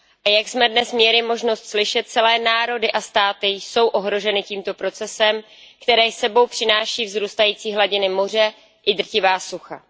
Jak jsme dnes měli možnost slyšet, celé národy a státy jsou ohroženy tímto procesem, který s sebou přináší vzrůstající hladiny moře i drtivá sucha.